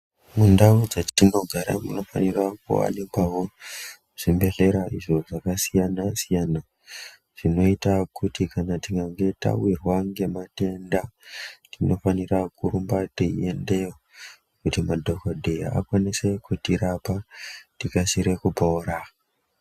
Mundau dzetinogara munofanira kuwanikwawo, zvibhedhlera izvo zvakasiyana-siyana, zvinoita kuti kana tikange tawirwa ngematenda, tinofanira kurumba teiendeyo, kuti madhokodheya akwanise kutirapa, tikasire kupora.